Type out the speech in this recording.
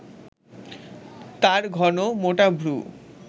তাঁর ঘন মোটা ভ্রু